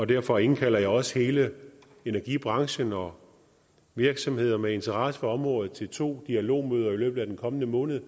derfor indkalder jeg også hele energibranchen og virksomheder med interesser på området til to dialogmøder i løbet af den kommende måned